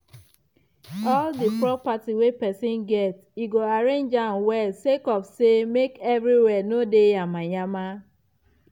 all di property wey pesin get e go arrange am well sake of say make everywhere no dey yama yama